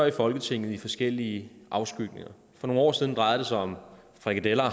i folketinget i forskellige afskygninger for nogle år siden drejede det sig om frikadeller og